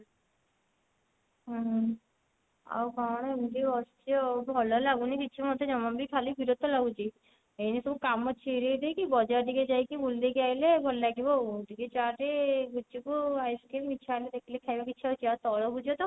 ଉଁ ହୁଁ ଆଉ କଣ ଏମତି ବସିଛି ଆଉ ଭଲ ଲାଗୁନି କିଛି ମୋତେ ଜମା ବି ଖାଲି ବିରକ୍ତ ଲାଗୁଛି ଏଇନେ ସବୁ କାମ ଛିଡେଇ ଦେଇକି ବଜାର ଟିକେ ଯାଇକି ବୁଲି ଦେଇକି ଆଇଲେ ଭଲ ଲାଗିବ ଆଉ ଟିକେ ଚାଟ ଗୁପଚୁପ୍ ice cream ଇଛା ହେଲେ ଦେଖିଲେ ଖାଇବାକୁ ଇଛା ହଉଛି ଆଉ ତରଭୁଜ ତ